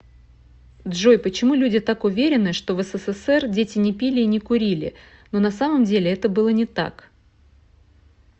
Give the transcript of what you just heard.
джой почему люди так уверены что в ссср дети не пили и не курили но на самом деле это было не так